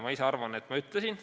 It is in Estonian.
Ma ise arvan, et ma seda ütlesin.